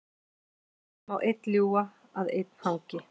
Svo má einn ljúga að einn hangi.